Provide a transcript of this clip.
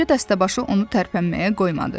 lakin qoca dəstəbaşı onu tərpənməyə qoymadı.